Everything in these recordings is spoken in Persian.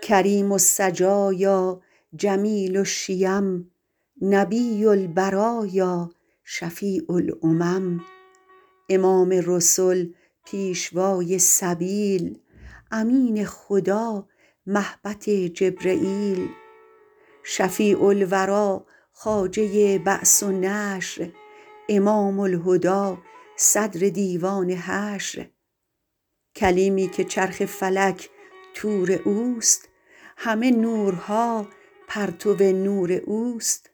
کریم السجایا جمیل الشیم نبی البرایا شفیع الامم امام رسل پیشوای سبیل امین خدا مهبط جبرییل شفیع الوری خواجه بعث و نشر امام الهدی صدر دیوان حشر کلیمی که چرخ فلک طور اوست همه نورها پرتو نور اوست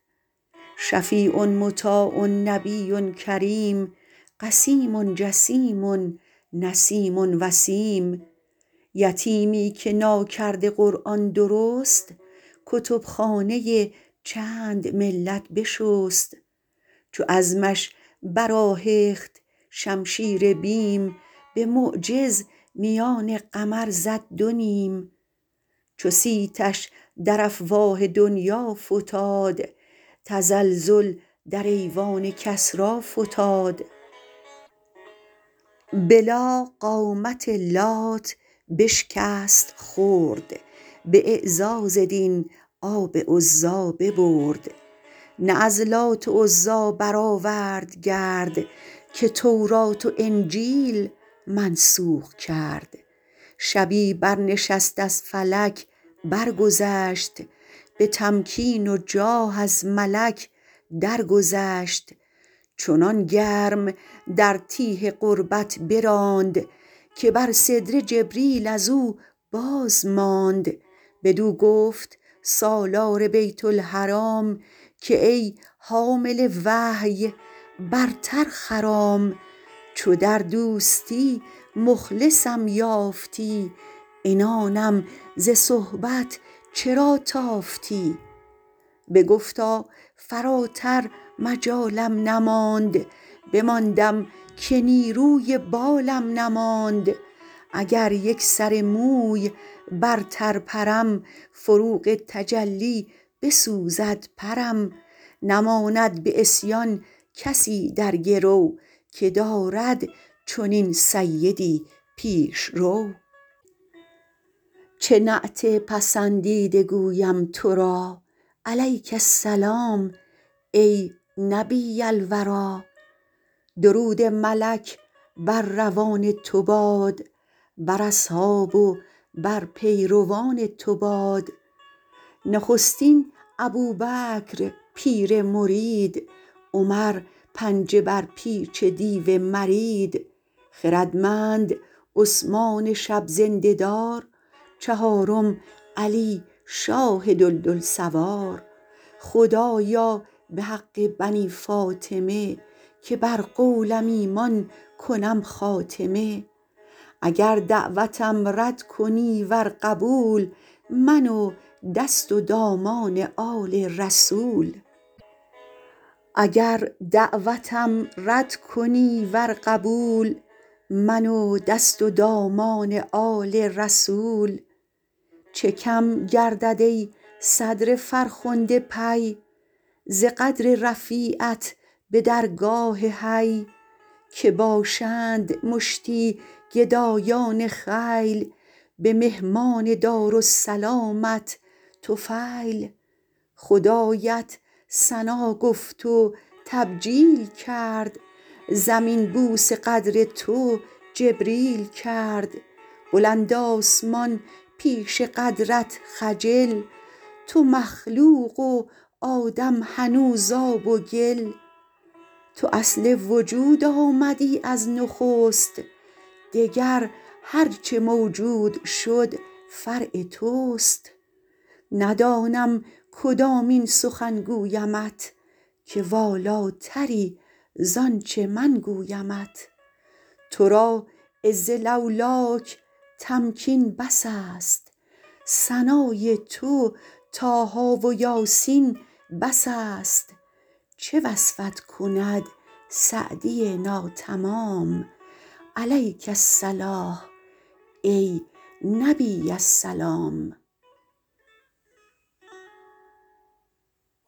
شفیع مطاع نبی کریم قسیم جسیم نسیم وسیم یتیمی که ناکرده قرآن درست کتب خانه چند ملت بشست چو عزمش برآهخت شمشیر بیم به معجز میان قمر زد دو نیم چو صیتش در افواه دنیا فتاد تزلزل در ایوان کسری فتاد به لا قامت لات بشکست خرد به اعزاز دین آب عزی ببرد نه از لات و عزی برآورد گرد که تورات و انجیل منسوخ کرد شبی بر نشست از فلک برگذشت به تمکین و جاه از ملک درگذشت چنان گرم در تیه قربت براند که بر سدره جبریل از او بازماند بدو گفت سالار بیت الحرام که ای حامل وحی برتر خرام چو در دوستی مخلصم یافتی عنانم ز صحبت چرا تافتی بگفتا فراتر مجالم نماند بماندم که نیروی بالم نماند اگر یک سر موی برتر پرم فروغ تجلی بسوزد پرم نماند به عصیان کسی در گرو که دارد چنین سیدی پیشرو چه نعت پسندیده گویم تو را علیک السلام ای نبی الوری درود ملک بر روان تو باد بر اصحاب و بر پیروان تو باد نخستین ابوبکر پیر مرید عمر پنجه بر پیچ دیو مرید خردمند عثمان شب زنده دار چهارم علی شاه دلدل سوار خدایا به حق بنی فاطمه که بر قولم ایمان کنم خاتمه اگر دعوتم رد کنی ور قبول من و دست و دامان آل رسول چه کم گردد ای صدر فرخنده پی ز قدر رفیعت به درگاه حی که باشند مشتی گدایان خیل به مهمان دارالسلامت طفیل خدایت ثنا گفت و تبجیل کرد زمین بوس قدر تو جبریل کرد بلند آسمان پیش قدرت خجل تو مخلوق و آدم هنوز آب و گل تو اصل وجود آمدی از نخست دگر هرچه موجود شد فرع توست ندانم کدامین سخن گویمت که والاتری زانچه من گویمت تو را عز لولاک تمکین بس است ثنای تو طه و یس بس است چه وصفت کند سعدی ناتمام علیک الصلوة ای نبی السلام